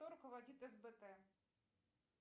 кто руководит сбт